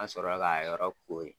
An sɔrɔ la k'a yɔrɔ koori.